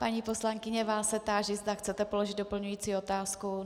Paní poslankyně, vás se táži, zda chcete položit doplňující otázku.